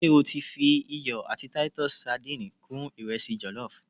se o ti fi iyo ati Titus sadìnìnnì kun iresi jollof?